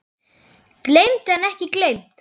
Geymt en ekki gleymt!